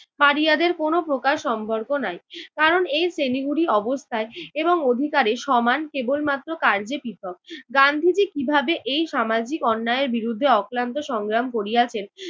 পাড়িয়াদের কোনো প্রকার সম্পর্ক নাই। কারণ এই শ্রেণীগুলি অবস্থায় এবং অধিকারে সমান কেবলমাত্র কার্যে পৃথক। গান্ধীজি কীভাবে এই সামাজিক অন্যায়ের বিরুদ্ধে অক্লান্ত সংগ্রাম করিয়াছেন